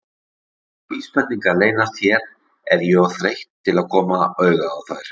Ef einhverjar vísbendingar leynast hérna er ég of þreytt til að koma auga á þær.